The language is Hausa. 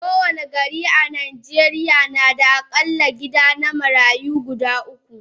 Kowani gari a najeriya nada akalla gidan marayu guda uku